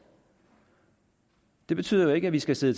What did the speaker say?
det betyder jo ikke at vi skal sidde